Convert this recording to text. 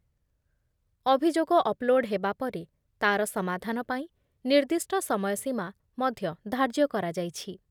ଅଭିଯୋଗ ଅପ୍‌ଲୋଡ଼ ହେବା ପରେ ତା'ର ସମାଧାନ ପାଇଁ ନିର୍ଦ୍ଦିଷ୍ଟ ସମୟ ସୀମା ମଧ୍ୟ ଧାର୍ଯ୍ୟ କରାଯାଇଛି ।